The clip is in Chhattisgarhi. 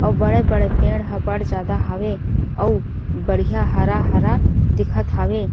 अउ बड़े-बड़े पेड़ ह बड़ ज्यादा हावे अउ बढ़िया हरा-हरा दिखत हावे।